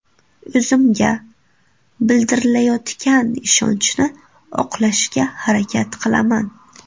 O‘zimga bildirilayotgan ishonchni oqlashga harakat qilaman.